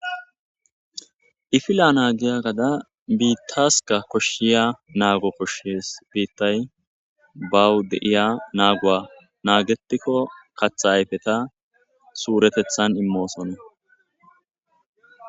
Ifila naagiya gada biittaska koshshiya naago koshshes biittay bawu deiya naaguwa naagetikko katha ayfeta suuretethan immoosone.